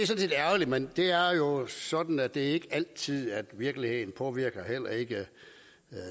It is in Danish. set ærgerligt men det er jo sådan at det ikke er altid virkeligheden påvirker heller ikke